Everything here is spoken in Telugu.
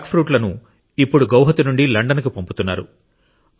ఈ జాక్ఫ్రూట్లను ఇప్పుడు గౌహతి నుండి లండన్కు పంపుతున్నారు